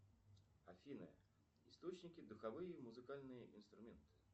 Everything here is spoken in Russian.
афина источники духовые музыкальные инструменты